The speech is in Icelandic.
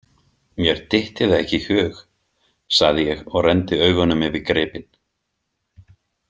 Mér dytti það ekki í hug, sagði ég og renndi augunum yfir gripinn.